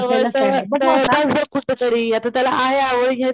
जवळ जवळ जवळपास बघ कुठंतरी आता त्याला आहे आवड हेच,